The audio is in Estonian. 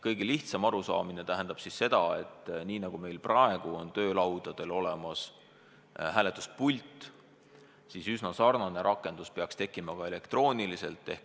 Kõige lihtsam arusaam asjast on, et nii nagu meil praegu on töölaudadel olemas hääletuspult, peaks sarnane rakendus tekkima ka elektrooniliselt.